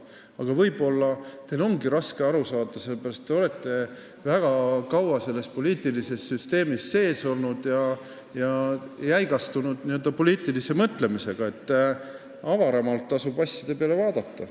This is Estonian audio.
Aga võib-olla teil ongi raske sellest aru saada, sellepärast et te olete väga kaua selles poliitilises süsteemis olnud ja n-ö jäigastunud poliitilise mõtlemisega – asjade peale tasub avaramalt vaadata.